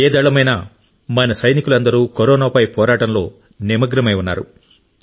ఏ దళమైనా మన సైనికులందరూ కరోనాపై పోరాటంలో నిమగ్నమై ఉన్నారు